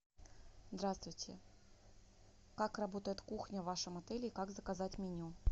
здравствуйте как работает кухня в вашем отеле и как заказать меню